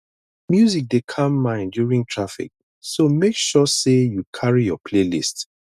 music dey calm mind during traffic so make sure say you carry your playlist